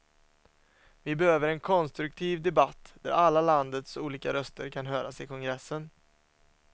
Vi behöver en konstruktiv debatt där alla landets olika röster kan höras i kongressen.